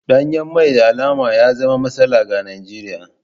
Danyen man da alama ya zama matsala ga Najeriya.